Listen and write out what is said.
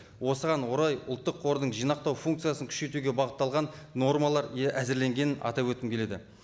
осыған орай ұлттық қордың жинақтау функциясын күшейтуге бағытталған нормалар әзірленгенін атап өткім келеді